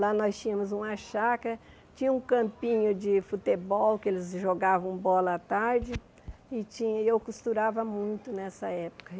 Lá nós tínhamos uma chácara, tinha um campinho de futebol que eles jogavam bola à tarde e tinha e eu costurava muito nessa época.